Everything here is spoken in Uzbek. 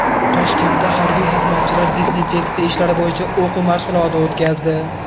Toshkentda harbiy xizmatchilar dezinfeksiya ishlari bo‘yicha o‘quv mashg‘uloti o‘tkazdi .